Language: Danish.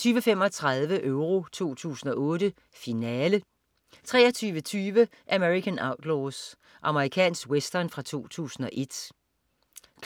20.35 Euro 2008: Finale 23.20 American Outlaws. Amerikansk western fra 2001